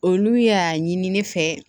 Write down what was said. Olu y'a ɲini ne fɛ